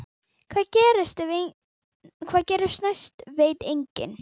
Hvað gerist næst veit enginn.